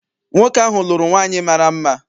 Nwoke ahụ lụrụ nwaanyị mara mma.